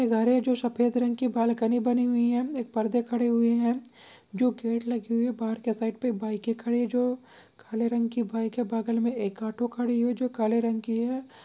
घर है जो सफ़ेद रंग की बालकनी बनी हुई है एक पर्दे खड़े हुए है जो गेट लगे हुई है बाहर के साइड पे बाइकें खड़ी है जो काले रंग की बाइक है बगल में एक ऑटो खड़ी हुई जो काले रंग की है।